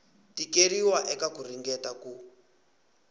tikeriwa eka ku ringeta ku